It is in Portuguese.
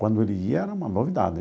Quando ele ia era uma novidade.